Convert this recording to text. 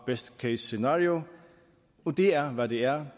best case scenario det er hvad det er